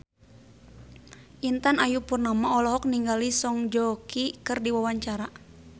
Intan Ayu Purnama olohok ningali Song Joong Ki keur diwawancara